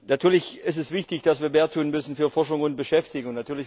Natürlich ist es wichtig, dass wir mehr tun müssen für Forschung und Beschäftigung.